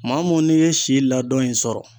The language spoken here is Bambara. Maa mun n'i ye si ladɔn in sɔrɔ